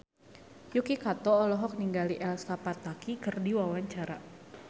Yuki Kato olohok ningali Elsa Pataky keur diwawancara